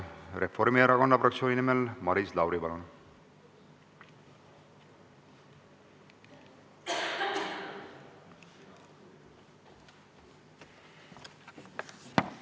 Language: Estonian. Reformierakonna fraktsiooni nimel Maris Lauri, palun!